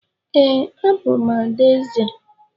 Ee, abụ m adaeze.